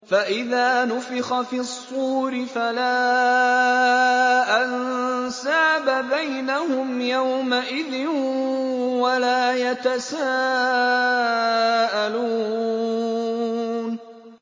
فَإِذَا نُفِخَ فِي الصُّورِ فَلَا أَنسَابَ بَيْنَهُمْ يَوْمَئِذٍ وَلَا يَتَسَاءَلُونَ